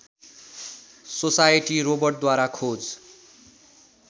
society रोबोटद्वारा खोज